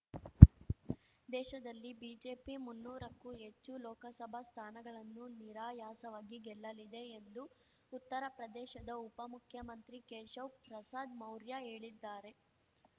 ದೇಶದಲ್ಲಿ ಬಿಜೆಪಿ ಮುನ್ನೂರಕ್ಕೂ ಹೆಚ್ಚು ಲೋಕಸಭಾ ಸ್ಥಾನಗಳನ್ನು ನಿರಾಯಾಸವಾಗಿ ಗೆಲ್ಲಲಿದೆ ಎಂದು ಉತ್ತರ ಪ್ರದೇಶದ ಉಪ ಮುಖ್ಯಮಂತ್ರಿ ಕೇಶವ್ ಪ್ರಸಾದ್ ಮೌರ್ಯ ಹೇಳಿದ್ದಾರೆ